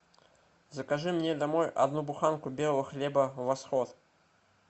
закажи мне домой одну буханку белого хлеба восход